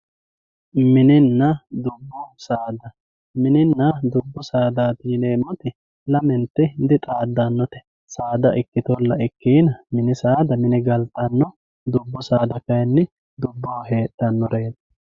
Minina dubbu saada minina dubbu sadati yinemot lamenti dixadanote saada ikitola ikiina mini saada mine galtano dubbu saada kayini duboho hedhanoreeti.